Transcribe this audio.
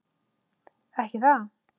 Ekki það.?